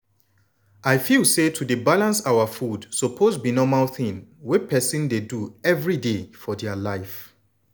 i feel say to dey balance our food suppose be normal thing wey everybody dey do everyday for dia life.